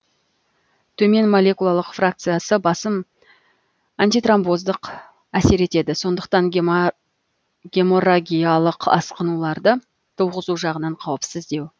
төмен молекулалық фракциясы басым антитромбоздық әсер етеді сондықтан геморрагиялық асқынуларды туғызу жағынан қауіпсіздеу